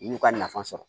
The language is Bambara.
U y'u ka nafa sɔrɔ